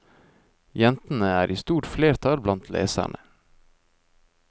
Jentene er i stort flertall blant leserne.